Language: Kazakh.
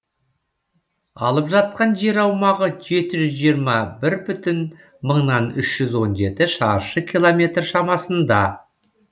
алып жатқан жер аумағы жеті жүз жиырма бір бүтін мыңнан үш жүз он жеті шаршы километр шамасында